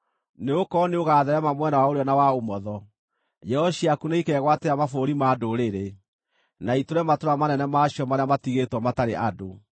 Nĩgũkorwo nĩũgatheerema mwena wa ũrĩo na wa ũmotho; njiaro ciaku nĩikegwatĩra mabũrũri ma ndũrĩrĩ, na itũũre matũũra manene ma cio marĩa matigĩtwo matarĩ andũ.